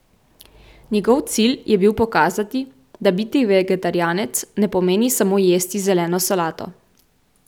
Njegov cilj je bil pokazati, da biti vegetarijanec ne pomeni samo jesti zeleno solato.